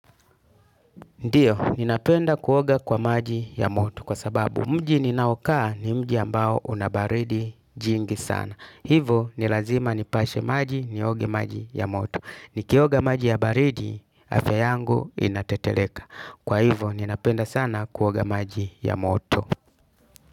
Ndio, ninapenda kuoga kwa maji ya moto kwa sababu mji ninaokaa ni mji ambao una baridi jingi sana. Hivo, ni lazima nipashe maji nioge maji ya moto. Nikioga maji ya baridi, afya yangu inateteleka. Kwa hivo, ninapenda sana kuoga maji ya moto.